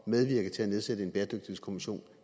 medvirke til at nedsætte en bæredygtighedskommission